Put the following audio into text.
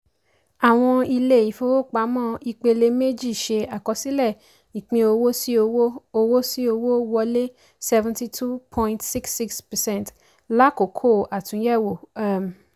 àwọn ilé-ìfowópamọ́ ìpele-méjì ṣe àkọsílẹ̀ ìpín owó sí owó owó sí owó wọlé seventy two point six six percent láàkókò àtúnyẹ̀wò. um